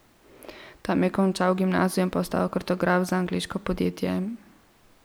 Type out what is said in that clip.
Tam je končal gimnazijo in postal kartograf za angleško podjetje.